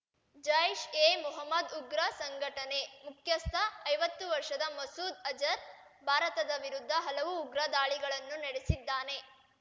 ಜೈಷ್ ಎ ಮೊಹ್ಮದ್ ಉಗ್ರ ಸಂಘಟನೆ ಮುಖ್ಯಸ್ಥ ಐವತ್ತು ವರ್ಷದ ಮಸೂದ್ ಅಜರ್ ಭಾರತದ ವಿರುದ್ಧ ಹಲವು ಉಗ್ರದಾಳಿಗಳನ್ನು ನಡೆಸಿದ್ದಾನೆ